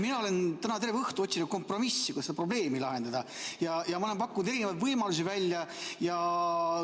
Mina olen täna terve õhtu otsinud kompromissi, kuidas seda probleemi lahendada, ja olen pakkunud erinevaid võimalusi välja.